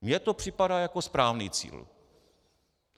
Mně to připadá jako správný cíl.